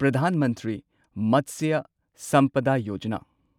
Pradhan Mantri Matsya Sampada Yojana